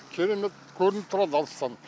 керемет көрініп тұрады алыстан